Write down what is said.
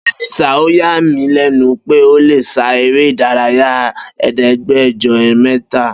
Beni sir ọ ya mí lénu pe ó lé sá eré ìdárayá ẹdẹgbẹjọ mítà